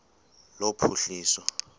lophuhliso